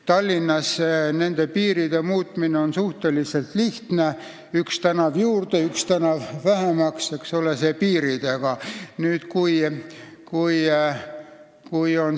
Tallinnas on nende piiride muutmine suhteliselt lihtne: üks tänav juurde, üks tänav vähemaks, eks ole.